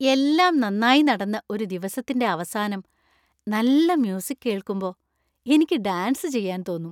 എല്ലാം നന്നായി നടന്ന ഒരു ദിവസത്തിന്‍റെ അവസാനം നല്ല മ്യൂസിക് കേൾക്കുമ്പോ എനിക്ക് ഡാൻസ് ചെയ്യാൻ തോന്നും .